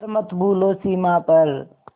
पर मत भूलो सीमा पर